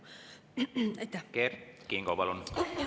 Kert Kingo, palun!